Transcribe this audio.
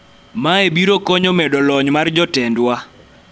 mae biro konyo medo lony mar jotendwa